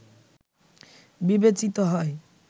বিবেচিত হয়